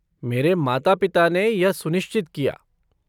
मेरे माता पिता ने यह सुनिश्चित किया।